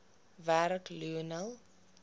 werk lionel